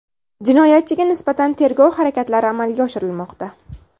Jinoyatchiga nisbatan tergov harakatlari amalga oshirilmoqda.